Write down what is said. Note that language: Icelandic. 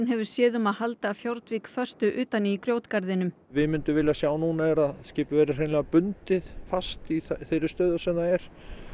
hefur séð um að halda föstu utan í við myndum vilja sjá núna er að skipið verði hreinlega bundið fast í þeirri stöðu sem það er